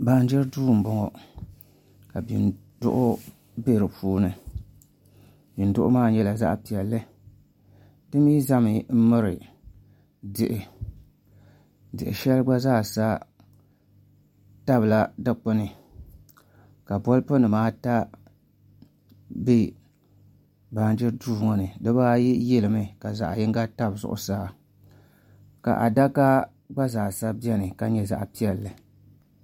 Baanjiri Duu n bɔŋɔ ka bin duɣu bɛ di puuni di mii ʒɛmi n miri tihi tia shɛli gba zaasa tabila dikpuni ka bolfu nimaata bɛ baanjiri duu ŋɔ ni dibaayi yilimi ka zaɣ yinga tabi zuɣusaa ka adaka gba zaa sa biɛni ka nyɛ zaɣ piɛlli